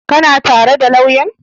Ka na tare da lauyan?